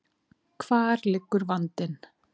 Hvar liggur vandinn?